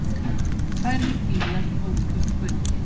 Færri bílar óku um göngin